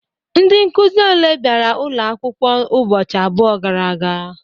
Ndị Nkụzi oké bịara ụlọ akwụkwọ ụbọchị abụọ gara aga?